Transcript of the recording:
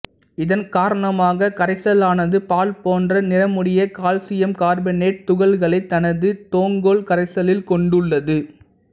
இதன் காரணமாக கரைசலானது பால் போன்ற நிறமுடைய கால்சியம் கார்பனேட்டுத் துகள்களைத் தனது தொங்கல் கரைசலில் கொண்டுள்ளது